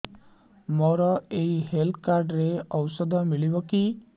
ମୋର ଏଇ health card ରେ ଔଷଧ ମିଳିବ କି